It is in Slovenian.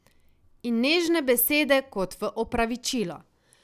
In nežne besede, kot v opravičilo.